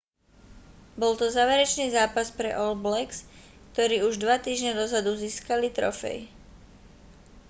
bol to záverečný zápas pre all blacks ktorí už dva týždňe dozadu získali trofej